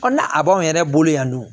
na a b'anw yɛrɛ bolo yan nɔ